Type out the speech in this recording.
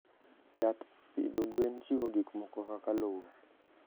Yath pidho gwen chiwo gik moko kaka lowo.